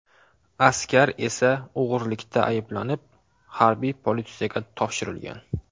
Askar esa o‘g‘irlikda ayblanib, harbiy politsiyaga topshirilgan.